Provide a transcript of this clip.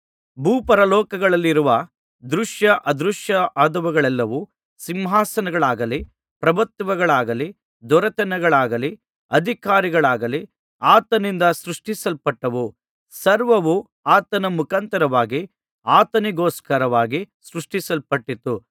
ಭೂಪರಲೋಕಗಳಲ್ಲಿರುವ ದೃಶ್ಯ ಅದೃಶ್ಯವಾದವುಗಳೆಲ್ಲವೂ ಸಿಂಹಾಸನಗಳಾಗಲಿ ಪ್ರಭುತ್ವಗಳಾಗಲಿ ದೊರೆತನಗಳಾಗಲಿ ಅಧಿಕಾರಗಳಾಗಲಿ ಆತನಿಂದ ಸೃಷ್ಟಿಸಲ್ಪಟ್ಟವು ಸರ್ವವೂ ಆತನ ಮುಖಾಂತರವಾಗಿ ಆತನಿಗೋಸ್ಕರವಾಗಿ ಸೃಷ್ಟಿಸಲ್ಪಟ್ಟಿತು